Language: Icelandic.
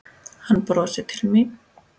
Hann brosir til mín.